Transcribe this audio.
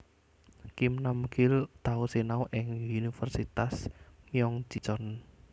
Kim Nam Gil tau sinau ing Universitas Myeong Ji Cheon